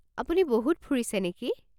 আপুনি বহুত ফুৰিছে নেকি?